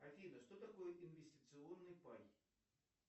афина что такое инвестиционный пай